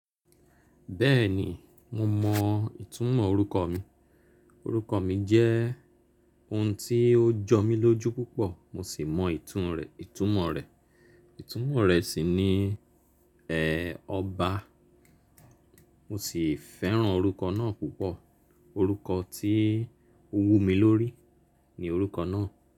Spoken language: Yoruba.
Bẹ́ẹ̀ni, mo mọ ìtumọ̀ orúkọ mi. Orúkọ mi jẹ́ ohun tí ó jọ mí lójú púpọ̀ mo sì mọ ìtumọ rẹ̀. Ìtumọ rẹ̀ sì ni ẹ̀ ọba. Mo sì fẹ́ràn orúkọ náà púpọ̀. Orúkọ tí ó wú mi lórí ni orúkọ náà.